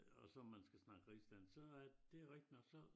Og så man skal snakke rigsdansk så er det rigtig nok så